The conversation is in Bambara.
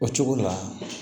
O cogo la